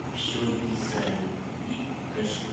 все из за любви покажи